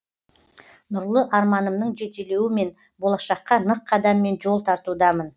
нұрлы арманымның жетелеуімен болашаққа нық қадаммен жол тартудамын